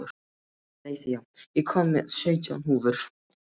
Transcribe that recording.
Eileiþía, ég kom með sautján húfur!